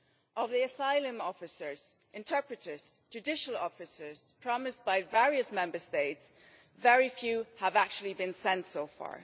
Or the asylum officers, interpreters, judicial officers, promised by various Member States? Very few have actually been sent so far.